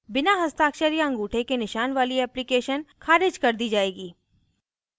बिना हस्ताक्षर या अंगूठे के निशान वाली एप्लीकेशन ख़ारिज कर दी जाएगी